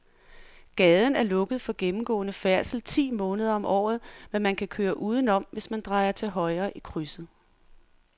Gaden er lukket for gennemgående færdsel ti måneder om året, men man kan køre udenom, hvis man drejer til højre i krydset.